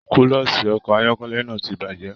Kúlọ̀sí ọkọ ayọkẹlẹ náà tí bajẹ.